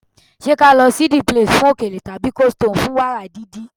Ṣé ka lọ sí "the place" fún òkèlè tàbí "coldstone" fún wàrà didi?